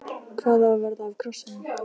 Hvað á að verða af krossinum?